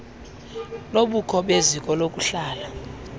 lobukho beziko lokuhlala